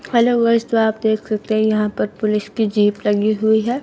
Hello guys तो आप देख सकते हैं यहां पर पुलिस की जीप लगी हुई है।